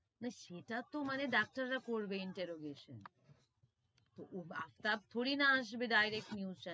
না সেটা তো মানে ডাক্তার রা করবে interrogation আফতাব থোড়ি না আসবে direct news channel,